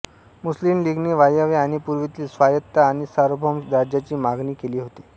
मुस्लिम लीगने वायव्य आणि पूर्वेतील स्वायत्त आणि सार्वभौम राज्यांची मागणी केली होती